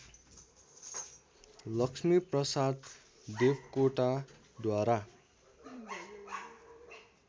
Laxmiprasad देवकोटाद्वारा